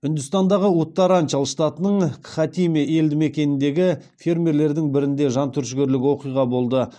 үндістандағы уттаранчал штатының кхатиме елдімекеніндегі фермерлердің бірінде жантүршігерлік оқиға болды